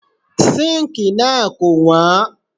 Síǹkì náà kò wọ́n.